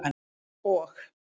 og